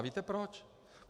A víte proč?